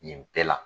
Nin bɛɛ la